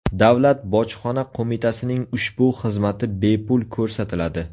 Davlat bojxona qo‘mitasining ushbu xizmati bepul ko‘rsatiladi.